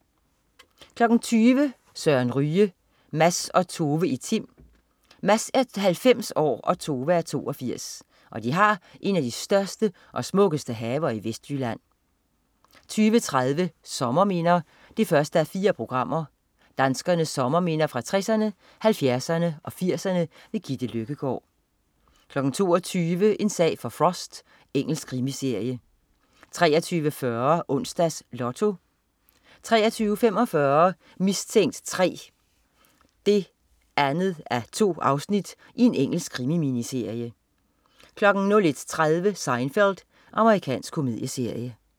20.00 Søren Ryge. Mads og Tove i Tim. Mads er 90 og Tove 82. De har en af de største og smukkeste haver i Vestjylland 20.30 Sommerminder 1:4. Danskernes sommerminder fra 60erne, 70erne og 80erne. Gitte Løkkegård 22.00 En sag for Frost. Engelsk krimiserie 23.40 Onsdags Lotto 23.45 Mistænkt 3 2:2. Engelsk krimi-miniserie 01.30 Seinfeld. Amerikansk komedieserie